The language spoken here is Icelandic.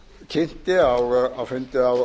kynnti á fundi á